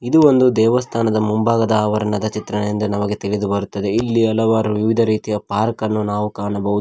ಇದು ಒಂದು ದೇವಸ್ಥಾನದ ಮುಂಭಾಗದ ಆವರಣದ ಚಿತ್ರದಿಂದ ನಮಗೆ ತಿಳಿದು ಬರುತ್ತದೆ ಇಲ್ಲಿ ಹಲವರು ವಿವಿಧ ರೀತಿಯ ಪಾರ್ಕ್ ಅನ್ನು ನಾವು ಕಾಣಬಹುದು.